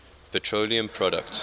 petroleum products